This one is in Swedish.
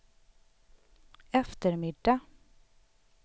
eftermiddag